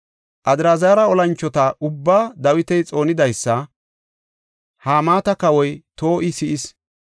Adraazara olanchota ubbaa Dawiti xoonidaysa Hamaata kawoy To7i si7is.